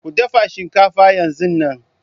Ku dafa shinkafa yanzun nan!